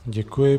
Děkuji.